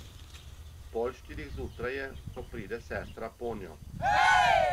Pol štirih zjutraj je, ko pride sestra ponjo.